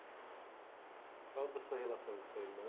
Você falou da sua relação com o seu irmã.